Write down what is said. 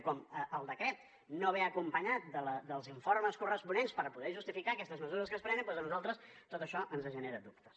i com el decret no ve acompanyat dels informes corresponents per poder justificar aquestes mesures que es prenen doncs a nosaltres tot això ens genera dubtes